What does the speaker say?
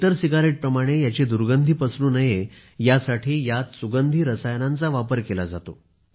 इतर सिगरेट प्रमाणे याची दुर्गंधी पसरू नये यासाठी यात सुगंधी रसायनांचा वापर केला जातो